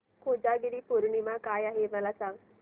कोजागिरी पौर्णिमा काय आहे मला सांग